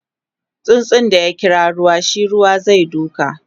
tsutsun da ya kira ruwa shi Ruwa zai duka